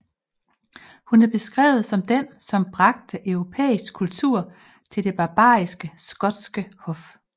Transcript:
Hun er beskrevet som den som bragte europæisk kultur til det barbariske skotske hof